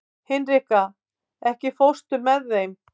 Hinrika, ekki fórstu með þeim?